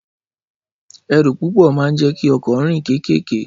Ẹrù púpò ḿa ń jẹ kì ọ̀kọ́ rìn kẹkẹkẹ